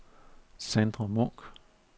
Sandra Munk